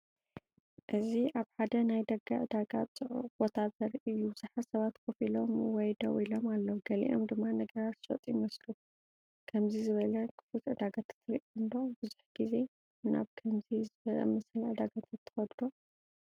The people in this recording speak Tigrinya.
እዚ ኣብ ሓደ ናይ ደገ ዕዳጋ ጽዑቕ ቦታ ዘርኢ እዩ። ብዙሓት ሰባት ኮፍ ኢሎም ወይ ደው ኢሎም ኣለዉ፡ ገሊኦም ድማ ነገራት ዝሸጡ ይመስሉ። ከምዚ ዝበለ ክፉት ዕዳጋታት ርኢኹም ዶ? ብዙሕ ግዜ ናብ ከምዚ ዝኣመሰለ ዕዳጋታት ትኸዱ ዶ?